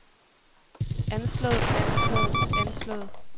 anslået anslået anslået